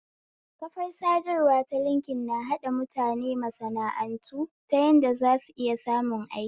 Kafar sadarwa ta linkin na haɗa mutane masana'antu ta yadda zu iya samun aiki